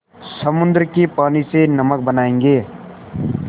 समुद्र के पानी से नमक बनायेंगे